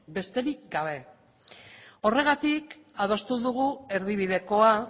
besterik gabe horregatik adostu dugu erdibidekoa